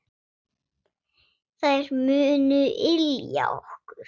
Þær munu ylja okkur.